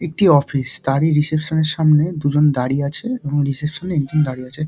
একটি অফিস তারই রিসেপশন এর সামনে দুজ্ন দাঁড়িয়ে আছে এবং রিসেপশন - এ একজন দাঁড়িয়ে আছে।